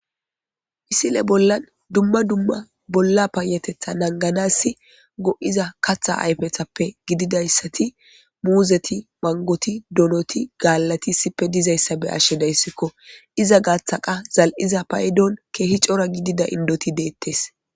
Misile bollan dumma dumma bolla paayatetha nangganassi go7iza katha ayfethappe gididayssati muuzeti manggoti donoti gaallati issippe dizayssa be7ashshe daysikko. Iza gaaththa qa zal7iza paydon keehi cora gidida inddoti deettes.